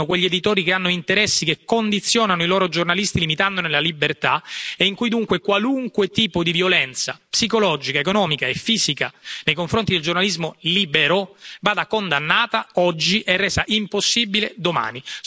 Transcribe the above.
risaltino quegli editori che hanno interessi che condizionano i loro giornalisti limitandone la libertà e in cui, dunque, qualunque tipo di violenza psicologica, economica e fisica nei confronti del giornalismo libero vada condannata oggi e resa impossibile domani.